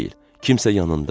Kimsə yanındadır.